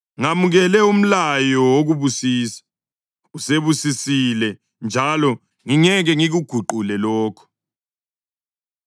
Ngamukele umlayo wokubusisa; usebusisile, njalo ngingeke ngikuguqule lokho.